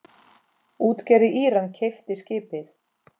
Útgerð í Íran keypti skipið.